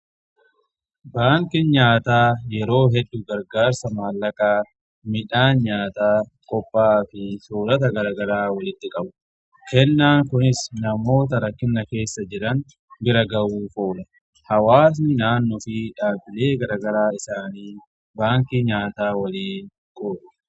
baankin nyaataa yeroo heddu gargaarsa maallaqaa, midhaan nyaataa qopha'aa fi soorata garagaraa walitti qabudha. kennaan kunis namoota rakkina keessa jiran bira gahuf oola. hawaasni naannoo fi dhaabileen garagaraa baankii nyaataa waliin ni hojjetu.